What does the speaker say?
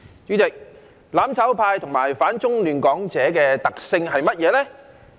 主席，"攬炒派"和反中亂港者的特性是甚麼？